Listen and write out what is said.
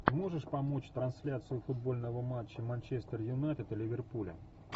можешь помочь трансляцию футбольного матча манчестер юнайтед и ливерпуля